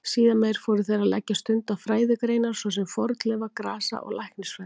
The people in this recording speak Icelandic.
Síðar meir fóru þeir að leggja stund á fræðigreinar svo sem fornleifa-, grasa- og læknisfræði.